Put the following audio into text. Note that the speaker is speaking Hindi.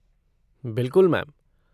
बिल्कुल मैम।